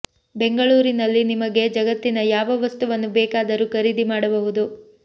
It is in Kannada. ಬೆಂಗಳೂರಿನಲ್ಲಿ ನಿಮಗೆ ಜಗತ್ತಿನ ಯಾವ ವಸ್ತುವನ್ನು ಬೇಕಾದರೂ ಖರೀದಿ ಮಾಡ ಬಹುದು